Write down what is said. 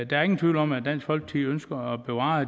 der er ingen tvivl om at dansk folkeparti ønsker at bevare